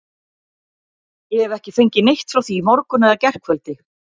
Ég hef ekki fengið neitt frá því í morgun eða gærkvöldi.